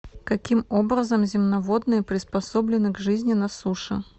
каким образом земноводные приспособлены к жизни на суше